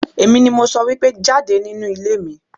Èmi ni mo sọ wípé jáde nínú ilé mi!